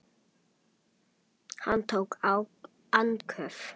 Hann tók andköf.